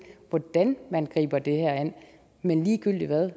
hvordan man griber det her an men ligegyldig hvad